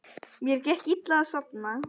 Mér gekk illa að sofna.